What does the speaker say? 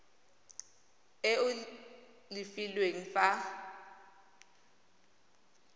e o e filweng fa